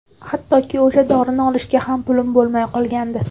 Hattoki o‘sha dorini olishga ham pulim bo‘lmay qolgandi.